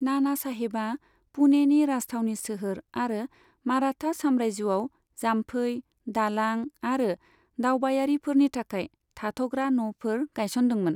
नानासाहेबआ पुणेनि राजथावनि सोहोर आरो माराथा साम्रायजोआव जाम्फै, दालां आरो दावबायारिफोरनि थाखाय थाथ'ग्रा न'फोर गायसनदोंमोन।